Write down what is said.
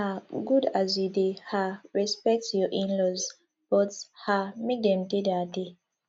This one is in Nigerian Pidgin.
um e good as you dey um respect your inlaws but um make dem dey their dey